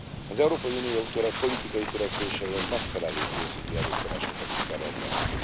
Az Európai Unió politikai törekvéseihez megfelelő pénzügyi erőforrásokat is kell rendelni.